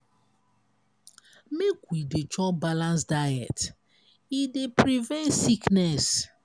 make we dey chop balanced diet e dey prevent sickness.